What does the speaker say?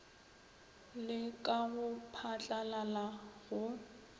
le ka go phatlalala go